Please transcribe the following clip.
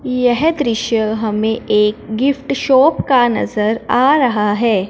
यह दृश्य हमें एक गिफ्ट शॉप का नजर आ रहा है।